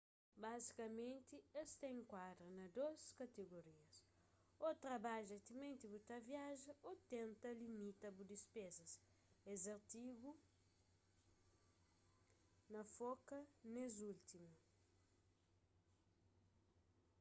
bazikamenti es ta enkuadra na dôs kategorias ô trabadja timenti bu ta viaja ô tenta limita bu dispezas es artigu na foka nes últimu